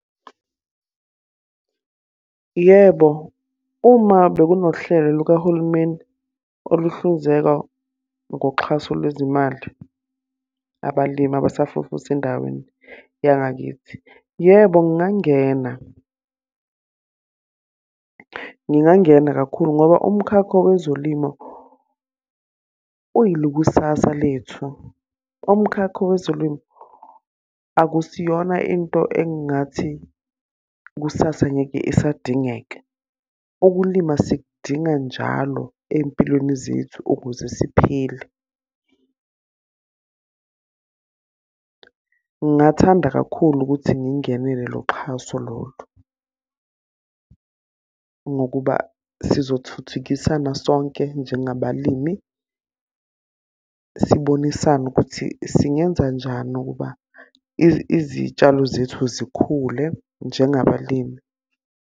Yebo, uma bekunohlelo lukahulumeni oluhlinzeka ngoxhaso lwezimali abalimi abasafufusa endaweni yangakithi. Yebo, ngingangena. Ngingangena kakhulu ngoba umkhakho wezolimo uyili kusasa lethu. Umkhakha wezolimo akusiyona into engingathi kusasa ngeke isadingeka. Ukulima sikudinga njalo ey'mpilweni zethu, ukuze siphile. Ngingathanda kakhulu ukuthi ngingenele loxhaso lolu, ngokuba sizothuthukisana sonke njengabalimi. Sibonisane ukuthi singenza njani ukuba izitshalo zethu zikhule njengabalimi.